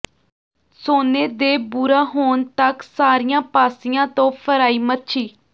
ਸੋਨੇ ਦੇ ਭੂਰਾ ਹੋਣ ਤੱਕ ਸਾਰੀਆਂ ਪਾਸਿਆਂ ਤੋਂ ਫਰਾਈ ਮੱਛੀ